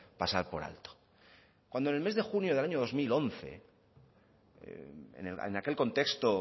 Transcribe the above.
pasar por alto cuando en el mes de junio del año dos mil once en aquel contexto